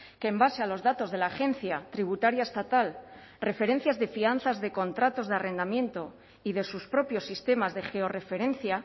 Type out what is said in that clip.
que en base a los datos de la agencia tributaria estatal referencias de fianzas de contratos de arrendamiento y de sus propios sistemas de georreferencia